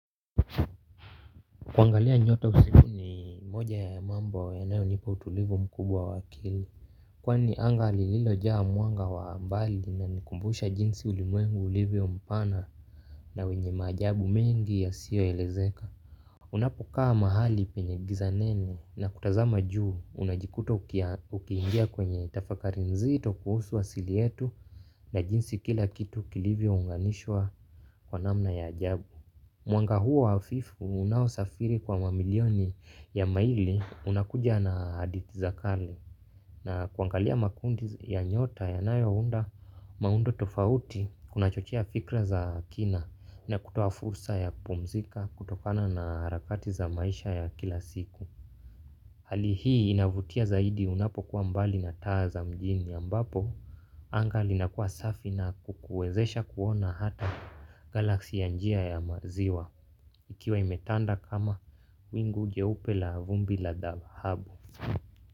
Kuangalia nyota usiku ni moja ya mambo ya nayo nipa utulivu mkubwa wa akili. Kwani anga lilo jaa mwanga wa mbali na nikumbusha jinsi ulimwengu ulivyo mpana na wenye ma ajabu mengi ya siyo elezeka. Unapo kaa mahali penye giza nene na kutazama juu unajikuta ukiingia kwenye tafakari nzito kuhusu asili yetu na jinsi kila kitu kilivyo unganishwa kwa namna ya ajabu. Mwanga huo hafifu unaosafiri kwa mamilioni ya maili unakuja na aditizakali na kuangalia makundi ya nyota ya nayo unda maundo tofauti kunachochia fikra za kina na kutoa fursa ya pumzika kutokana na harakati za maisha ya kila siku. Hali hii inavutia zaidi unapo kuwa mbali na taa za mjini ya ambapo anga linakuwa safi na kukuwezesha kuona hata galaksi ya njia ya maziwa. Ikiwa imetanda kama wingu jeupe la vumbi la dhahabu.